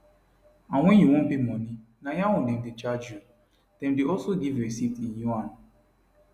and wen you wan pay money na yaun dem dey charge you dem dey also give receipt in yuan